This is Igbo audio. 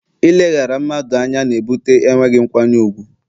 Ileghara mmadụ anya na ebute enweghị nkwanye ùgwù